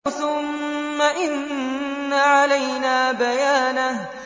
ثُمَّ إِنَّ عَلَيْنَا بَيَانَهُ